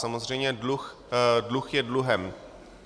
Samozřejmě dluh je dluhem.